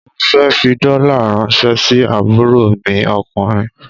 Mo fẹ́ fi dollar ràńṣẹ́ sí àbúrò mi ọkùnrin.